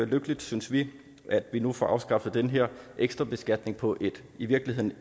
lykkeligt synes vi at vi nu får afskaffet den her ekstra beskatning på et i virkeligheden